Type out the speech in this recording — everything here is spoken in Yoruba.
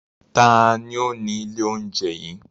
Taàní ó ní ilé oúnjẹ yìí?